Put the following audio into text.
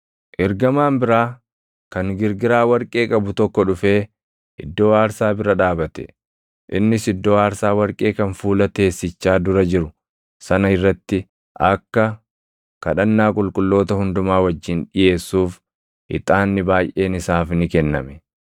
Ergamaan biraa kan girgiraa warqee qabu tokko dhufee iddoo aarsaa bira dhaabate. Innis iddoo aarsaa warqee kan fuula teessichaa dura jiru sana irratti akka kadhannaa qulqulloota hundumaa wajjin dhiʼeessuuf ixaanni baayʼeen isaaf ni kenname.